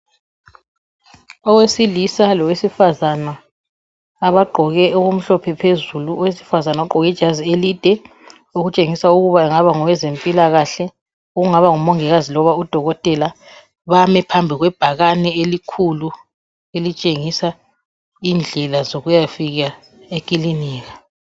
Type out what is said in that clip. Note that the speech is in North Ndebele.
Owesilisa lowesifazana abagqoke okumhlophe phezulu, owesifazana ugqoke ijazi elide okutshengisa ukuba engaba ngowezempilakahle ongaba ngumongikazi loba udokotela bami phambi kwebhakane elikhulu elitshengisa indlela zokuyafika ekilinika